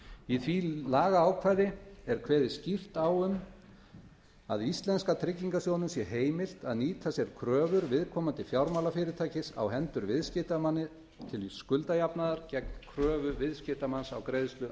í því lagaákvæði er kveðið skýrt á um það að íslenska tryggingarsjóðnum sé heimilt að nýta sér kröfur viðkomandi fjármálafyrirtækis á hendur viðskiptamanni til skuldajafnaðar gegn kröfu viðskiptamanns á greiðslu